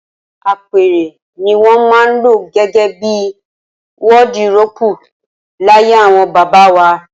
Apẹ̀rẹ̀ ni wọn maa ń lo gégé bi wọdiróópù, laye awon baba wà